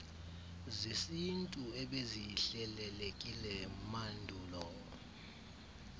zesintu ebezihlelelekile mandulo